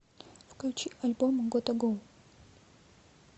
включи альбом готта го